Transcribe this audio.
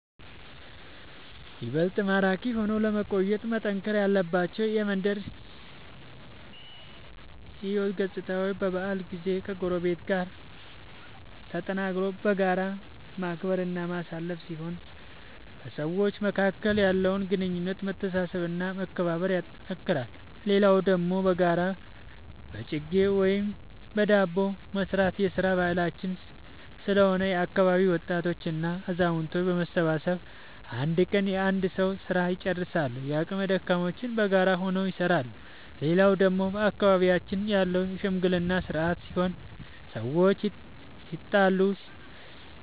ይበልጥ ማራኪ ሆኖ ለመቆየት መጠናከር ያለባቸው የመንደር ሕይወት ገፅታዎች በበዓል ጊዜ ከጎረቤት ጋር ተጠራርቶ በጋራ ማክበር እና ማሳለፍ ሲሆን በሰዎች መካከል ያለውን ግንኙነት መተሳሰብ እና መከባበር ያጠነክራል። ሌላው ደግሞ በጋራ በጅጌ ወይም በዳቦ መስራት የስራ ባህላችን ስለሆነ የአካባቢ ወጣቶች እና አዛውቶች በመሰብሰብ አንድ ቀን የአንድ ሰዉ ስራ ልጨርሳሉ። የአቅመ ደካሞችንም በጋራ ሆነው ይሰራሉ። ሌላው ደግሞ በአካባቢያችን ያለው የሽምግልና ስርአት ሲሆን ሰዎች